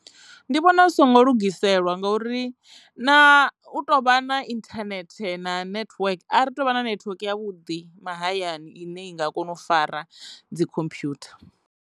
Ndi vhona zwi songo lugiselwa ngauri na u tou vha na inthanethe na network a ri tuvha na network ya vhuḓi mahayani ine i nga kona u fara dzi khomphwutha.